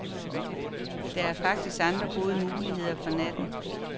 Der er faktisk andre gode muligheder for natten.